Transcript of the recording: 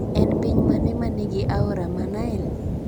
En piny mane ma nigi aora mar Nile?